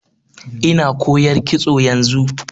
Ina koyar kitso yanzu.